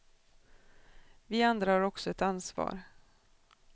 Vi andra har också ett ansvar.